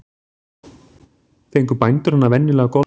Fengu bændur hana venjulega goldna með fiskæti.